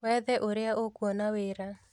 Wethe ũrĩa ũkuona wĩra